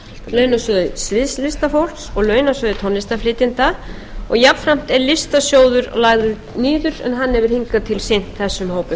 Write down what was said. launasjóði sviðslistafólk og launasjóði tónlistarflytjenda og jafnframt er listasjóður lagður niður en hann hefur hingað til sinnt þessum hópum